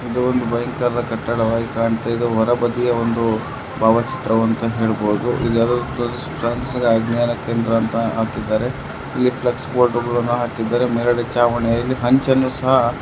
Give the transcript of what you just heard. ದೊಡ್ಡ ಭಯಂಕ ಕಟ್ಟಡವಾಗಿ ಕಾಣ್ತ್ಇದೆ ಹೊರಬದಿಯ ಒಂದು ಭಾವ ಚಿತ್ರ ಅಂತ ಹೇಳಬಹುದು ಇದು ಯಾವ್ದೋ ಒಂದು ಅಜ್ಞಾನ ಕೇಂದ್ರ ಅಂತ ಹಾಕಿದರೆ ಇಲ್ಲಿ ಫ್ಲೆಕ್ಸ್ ಬೋರ್ಡ್ಗಳನ್ನೂ ಹಾಕಿದರೆ ಮೇಲ್ಗಡೆ ಛಾವಣಿಯಲ್ಲಿ ಹಂಚನ್ನು ಸಹ --